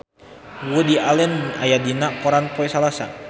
Woody Allen aya dina koran poe Salasa